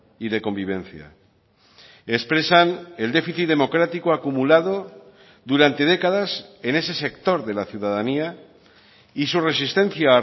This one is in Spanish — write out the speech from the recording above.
y de convivencia expresan el déficit democrático acumulado durante décadas en ese sector de la ciudadanía y su resistencia a